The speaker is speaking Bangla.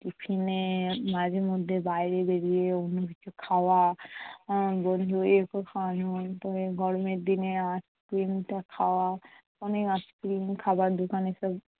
Tiffin এ মাঝে মধ্যে বাইরে বেরিয়ে অন্য কিছু খাওয়া। উম বন্ধু গরমের দিনে ice cream টা খাওয়া অনেক ice cream খাবারে দোকান এসব